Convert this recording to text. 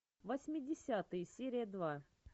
восьмидесятые серия два